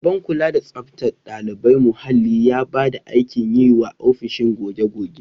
Shugaban kula da tsaftar ɗalibai muhalli ya ba mu aikin yi wa ofishin goge-goge.